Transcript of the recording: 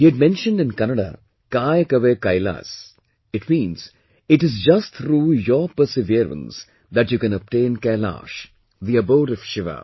He had mentioned in Kannada "Kaay Kave Kailas"... it means, it is just through your perseverance that you can obtain Kailash, the abode of Shiva